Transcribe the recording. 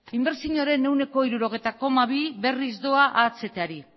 inbertsioaren ehuneko hirurogei koma bi berriz doa ahtari